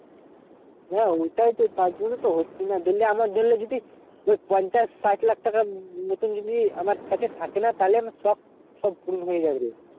হেঁ ওটাই তো তার জন্য তো হচ্ছে না ধরলে আমার ধরলে যদি ওই পঞ্চাশ সাঠ লাখ টাকা মতুন যদি আমার কাছে থাকে না তালে আমি সব সব পূর্ণ হয়ে যাবে রে